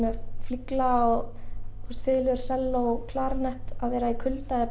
með flygla selló klarinett að vera í kulda er